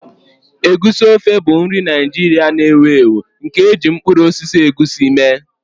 Egusi ofe bụ nri Naijiria na-ewu ewu nke e ji mkpụrụ osisi egusi mee.